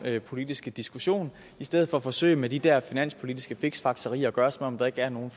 politiske diskussion i stedet for at forsøge med de der finanspolitiske fiksfakserier at gøre som om der ikke er nogen